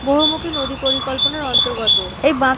বহুমুখী নদী পরিকল্পনার অন্তর্গত এই বাঁধ--